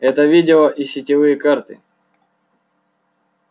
это видео и сетевые карты